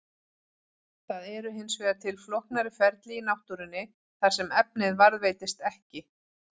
Það eru hins vegar til flóknari ferli í náttúrunni þar sem efnið varðveitist ekki.